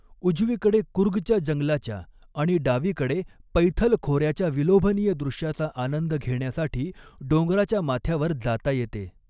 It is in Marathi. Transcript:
उजवीकडे कुर्गच्या जंगलाच्या आणि डावीकडे पैथल खोऱ्याच्या विलोभनीय दृश्याचा आनंद घेण्यासाठी डोंगराच्या माथ्यावर जाता येते.